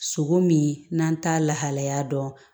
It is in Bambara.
Sogo min n'an t'a lahalaya dɔn